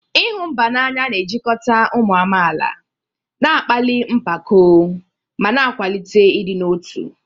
ịhụ mba n'anya na-ejikọta ụmụ amaala, na-akpali mpako, ma na-akwalite ịdị n'otu.